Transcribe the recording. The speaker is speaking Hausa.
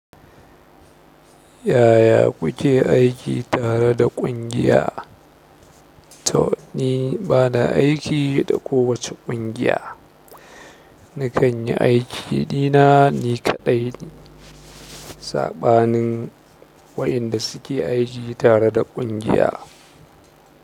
Yaya kuke aiki tare da ƙungiya? Toh ni bana aiki da kowace ƙungiya na kan yi aikina ni kaɗai. Saɓanin waɗanda suke aiki tare da ƙungiya.